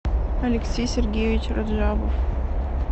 алексей сергеевич раджабов